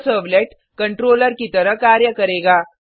यह servlet controller की तरह कार्य करेगा